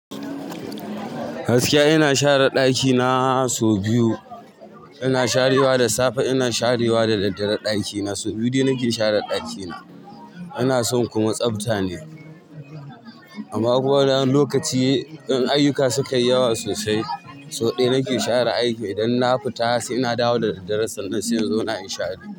Gaskiya ina share ɗakina sau biyu. Ina sharewa da safe, ina sharewa da dare ɗakina. Sau biyu de ke share ɗakina. Ina son kuma tsabta ne. Amma kuwa wani lokaci idan ayuka suka yi yawa sosai, sau ɗaya nake share aiki. Idan na fita sai, ina dawo da daddare sannan sai in zauna na inyi share.